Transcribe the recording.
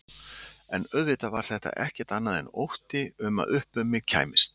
En auðvitað var þetta ekkert annað en ótti um að upp um mig kæmist.